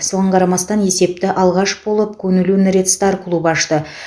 соған қарамастан есепті алғаш болып куньлунь ред стар клубы ашты